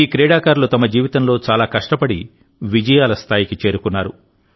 ఈ క్రీడాకారులు తమ జీవితంలో చాలా కష్టపడి విజయాల స్థాయికి చేరుకున్నారు